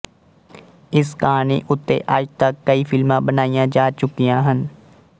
ਇਸ ਕਹਾਣੀ ਉੱਤੇ ਅੱਜ ਤੱਕ ਕਈ ਫ਼ਿਲਮਾਂ ਬਣਾਈਆਂ ਜਾ ਚੁੱਕੀਆਂ ਹਨ